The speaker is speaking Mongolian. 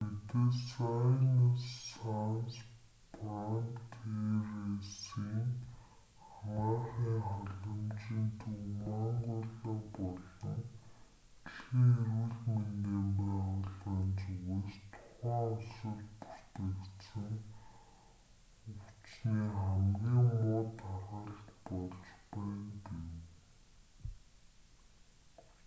медесайнес санс фронтиересийн анагаахын халамжийн төв мангола болон дэлхийн эрүүл мэндийн байгууллагын зүгээс тухайн улсад бүртгэгдсэн өвчний хамгийн муу тархалт болж байна гэв